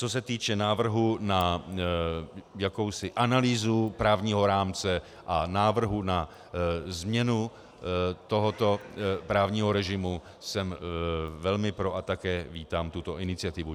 Co se týče návrhu na jakousi analýzu právního rámce a návrhu na změnu tohoto právního režimu, jsem velmi pro a také vítám tuto iniciativu.